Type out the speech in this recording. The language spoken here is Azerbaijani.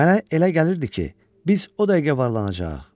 Mənə elə gəlirdi ki, biz o dəqiqə varlanacağıq.